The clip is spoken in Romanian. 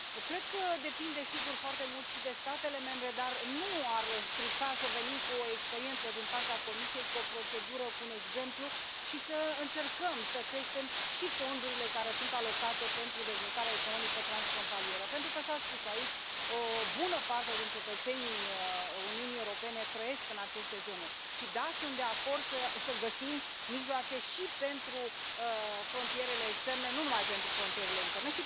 Cred că depinde, sigur, foarte mult și de statele membre, dar nu ar strica să venim cu o experiență din partea Comisiei, cu o procedură, cu un exemplu, și să încercăm să creștem și fondurile care sunt alocate pentru dezvoltarea economică transfrontalieră, pentru că s a spus aici o bună parte din cetățenii Uniunii Europene trăiesc în aceste zone. Și, da, sunt de acord să găsim mijloace și pentru frontierele externe, nu numai pentru frontierele interne.